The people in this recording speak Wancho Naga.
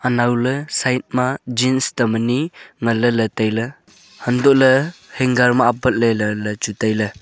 anawley side ma Jean tam ani ngan ley ley tai ley hantoh ley hanger ma apat ley ley tai ley.